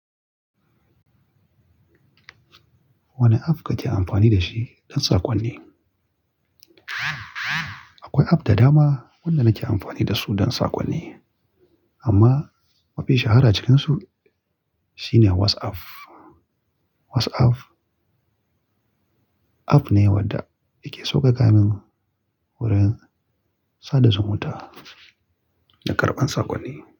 Wane app kake amfani da shi don saƙonni? Akwai app da dama waɗanda nake amfani da su don saƙonni, amma mafi shahara cikinsu shine WhatsApp. WhatsApp app ne wadda yake sauƙaƙa mun wurin sada zumunta da karɓan saƙonni.